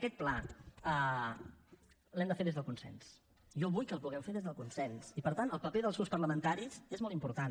aquest pla l’hem de fer des del consens jo vull que el puguem fer des del consens i per tant el paper dels grups parlamentaris és molt important